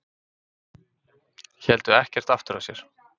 Héldu ekkert aftur af sér